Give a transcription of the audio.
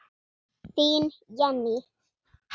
Þín Jenný.